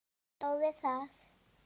Stóð við það.